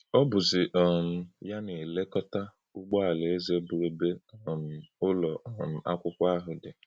Ọ́ bụ̀zị́ um yá nā-èlè̄kọ̀tà Ǔgbọ̀ Áláézè, bụ́̀ ébè̄ um ǖ́lọ̀ um àkwụ́kwọ̄ áhụ̄ dị̄.